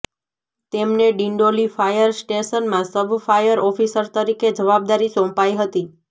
તેમને ડિંડોલી ફાયર સ્ટેશનમાં sub fire officer તરીકે જવાબદારી સોંપાઈ હતી